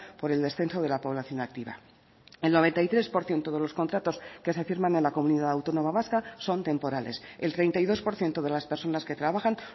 por el descenso de la población activa el noventa y tres por ciento de los contratos que se firman en la comunidad autónoma vasca son temporales el treinta y dos por ciento de las personas que trabajan